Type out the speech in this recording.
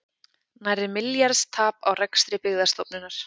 Nærri milljarðs tap á rekstri Byggðastofnunar